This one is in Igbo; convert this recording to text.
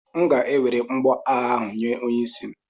M ga-ewere mgboagha ahụ nye onye isi m.